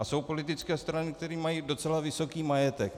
A jsou politické strany, které mají docela vysoký majetek.